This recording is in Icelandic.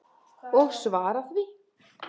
Og svara því.